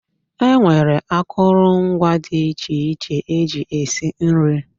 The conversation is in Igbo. E nwere akụrụngwa dị iche iche eji esi nri.